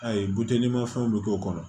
Ayi butelimafɛnw bɛ k'o kɔnɔ